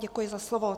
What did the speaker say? Děkuji za slovo.